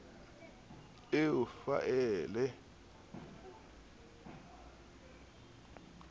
eo faele ya data e